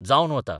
जावन वता.